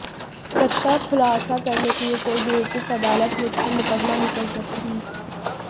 सच का खुलासा करने के लिए कोई बेवकूफ अदालत मुझ पर मुकदमा नहीं कर सकती